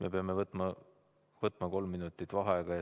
Me peame võtma kolm minutit vaheaega.